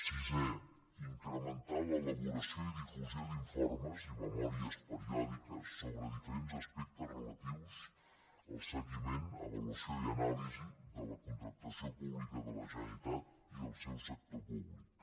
sisè incrementar l’elaboració i difusió d’informes i memòries periòdiques sobre diferents aspectes relatius al seguiment avaluació i anàlisi de la contractació pública de la generalitat i el seu sector públic